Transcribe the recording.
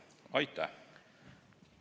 Aitäh!